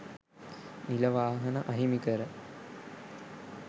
නිල වාහන අහිමි කර